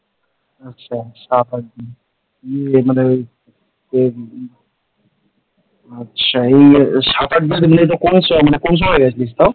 আচ্ছা সাত আট দিন ইয়ে মানে ওই যে , আচ্ছা এই সাত হাজার মানুষ কোন সময় গিয়েছিলিস তাও?